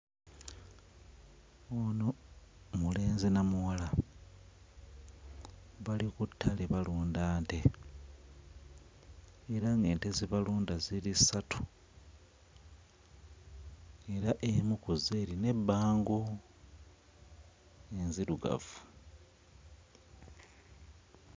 Ono mulenzi na muwala bali ku ttale balunda nte era ng'ente ze balunda ziri ssatu era emu ku zo erina ebbango, nzirugavu.